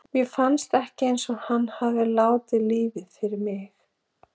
Mér finnst ekki eins og hann hafi látið lífið fyrir mig.